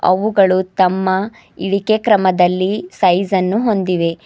ಅವುಗಳು ತಮ್ಮ ಇಳಿಕೆ ಕ್ರಮದಲ್ಲಿ ಸೈಜ್ ಅನ್ನು ಹೊಂದಿವೆ.